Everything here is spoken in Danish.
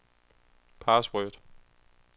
password